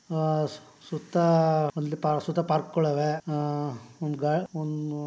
ಆ ಸು ಸುತ್ತಾ ಅಲ್ಲಿ ಪಾರ್ಕ್ ಸುತ್ತ ಪಾರ್ಕ್ ಗಳು ಅವೇ. ಆ --